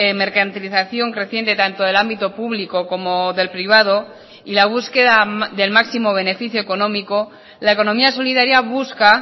mercantilización creciente tanto del ámbito público como del privado y la búsqueda del máximo beneficio económico la economía solidaria busca